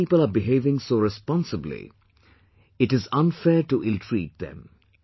So when people are behaving so responsibly, it is unfair to illtreat them